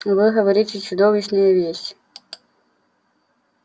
вы говорите чудовищные вещи